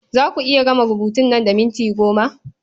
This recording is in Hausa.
Za a ku iya gama rubutun nan da minti goma?